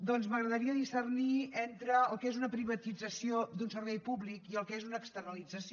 doncs m’agradaria discernir entre el que és una privatització d’un servei públic del que és una externalització